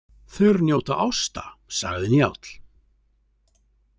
Þeir njóta ásta, sagði Njáll.